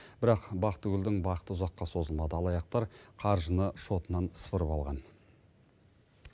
бірақ бақтыгүлдің бақыты ұзаққа созылмады алаяқтар қаржыны шотынан сыпырып алған